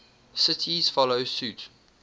cities follow suit